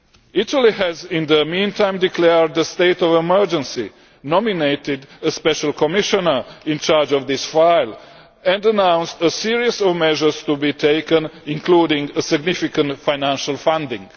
Italy has, in the meantime, declared a state of emergency, nominated a Special Commissioner in charge of this file and announced a series of measures to be taken, including significant financial funding.